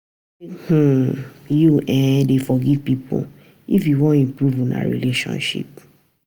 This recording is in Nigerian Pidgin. Make um you um dey forgive pipo if you wan improve una relationship.